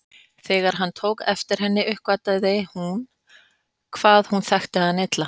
Þegar hann tók eftir henni uppgötvaði hún hvað hún þekkti hann illa.